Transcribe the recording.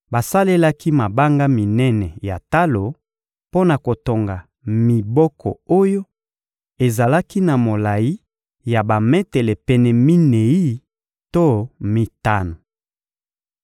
Basalelaki mabanga minene ya talo mpo na kotonga miboko oyo ezalaki na molayi ya bametele pene minei to mitano.